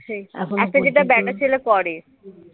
আজকাল যেটা ব্যাটা ছেলে করে